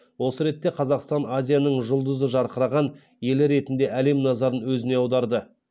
осы ретте қазақстан азияның жұлдызы жарқыраған елі ретінде әлем назарын өзіне аударды